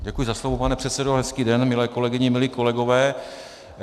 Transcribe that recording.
Děkuji za slovo, pane předsedo, hezký den, milé kolegyně, milí kolegové.